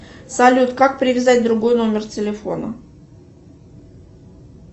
салют как привязать другой номер телефона